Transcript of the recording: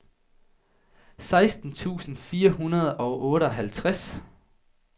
seksten tusind fire hundrede og otteoghalvtreds